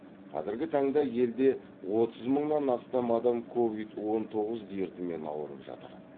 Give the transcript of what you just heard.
қазіргі таңда елде отыз мыңнан астам адам ковид он тоғыз дертімен ауырып жатыр